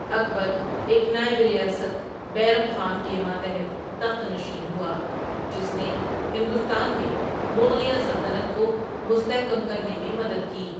اکبر ایک نائب ریاست، بیرم خان، کے ماتحت تخت نشین ہوا، جس نے ہندوستان میں مغلیہ سلطنت کو مستحکم کرنے میں مدد کی۔